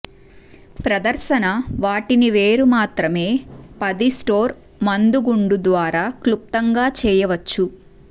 ప్రదర్శన వాటిని వేరు మాత్రమే పది స్టోర్ మందుగుండు ద్వారా క్లుప్తంగా చేయవచ్చు